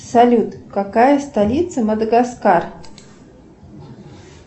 салют какая столица мадагаскар